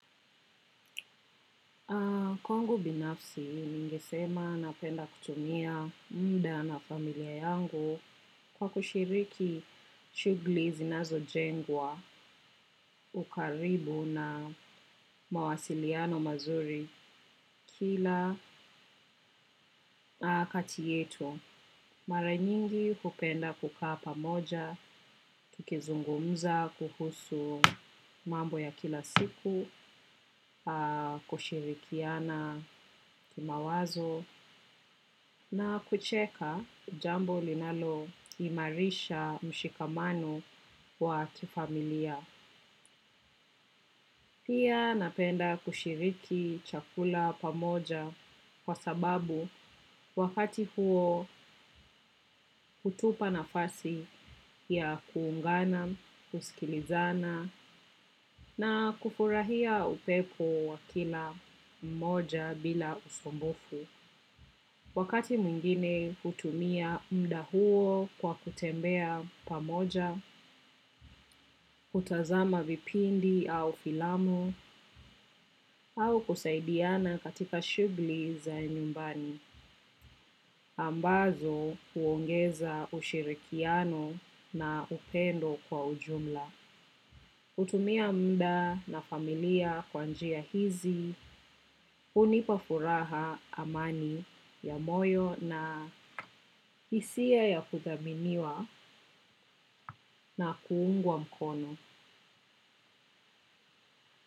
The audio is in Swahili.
Kwangu binafsi, ningesema napenda kutumia muda na familia yangu kwa kushiriki shughuli zinazo jengwa, ukaribu na mawasiliano mazuri kila katiyetu. Mara nyingi hupenda kukaa pamoja, tukizungumza, kuhusu mambo ya kila siku, kushirikiana kima wazo na kucheka jambo linalo imarisha mshikamano wa kifamilia. Pia napenda kushiriki chakula pamoja kwa sababu wakati huo hutupa nafasi ya kuungana, kusikilizana na kufurahia upepo wa kila mmoja bila usumbufu. Wakati mwingine hutumia muda huo kwa kutembea pamoja, kutazama vipindi au filamu, au kusaidiana katika shughuli za nyumbani, ambazo huongeza ushirikiano na upendo kwa ujumla. Kutumia muda na familia kwanjia hizi, hunipafuraha amani ya moyo na hisia ya kuthaminiwa na kuungwa mkono.